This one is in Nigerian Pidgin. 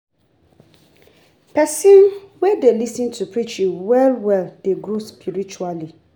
Pesin wey dey lis ten to preaching well well dey grow spiritually.